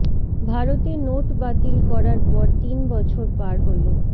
ভারতে নোট বাতিল করার পর তিন বছর পার হল